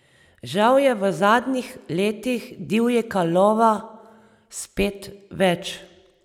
Žal je v zadnjih letih divjega lova spet več.